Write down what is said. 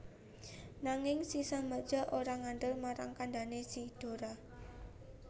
Nanging si Sambada ora ngandel marang kandhané si Dora